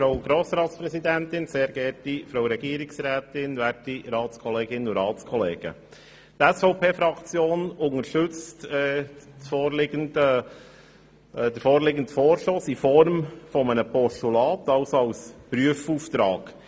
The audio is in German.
Die SVP-Fraktion unterstützt den vorliegenden Vorstoss in Form eines Postulats, also als Prüfauftrag.